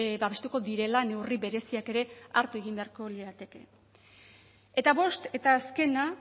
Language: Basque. babestuko direla neurri bereziak ere hartu egin beharko lirateke eta bost eta azkena